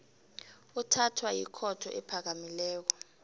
uthathwa yikhotho ephakamileko